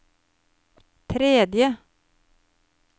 tredje